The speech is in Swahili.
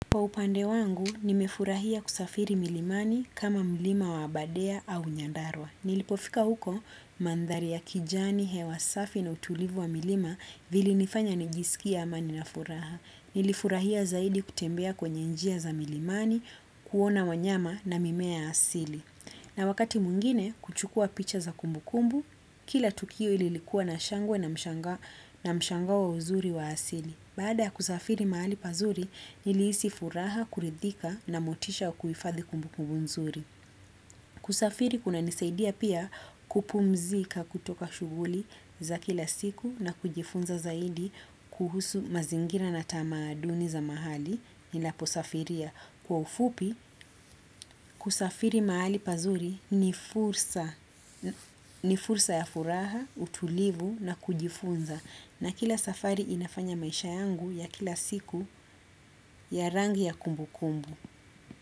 Kwa upande wangu, nimefurahia kusafiri milimani kama milima wa Aberdare au Nyandarwa. Nilipofika huko mandhari ya kijani hewa safi na utulivu wa milima vilinifanya nijiskie amani na furaha. Nilifurahia zaidi kutembea kwenye njia za milimani, kuona wanyama na mimea ya asili. Na wakati mwingine kuchukua picha za kumbukumbu, kila tukio lililikua na shangwe na mshangao wa uzuri wa asili. Baada ya kusafiri mahali pazuri, nilihisi furaha, kuridhika na motisha wa kuhifadhi kumbukumbu nzuri. Kusafiri kunanisaidia pia kupumzika kutoka shughuli za kila siku na kujifunza zaidi kuhusu mazingira na tamaduni za mahali ninaposafiria. Kwa ufupi, kusafiri mahali pazuri ni fursa ya furaha, utulivu na kujifunza. Na kila safari inafanya maisha yangu ya kila siku ya rangi ya kumbukumbu.